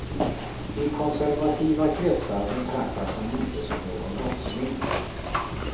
I konservativa kretsar betraktas han inte som någon brottsling.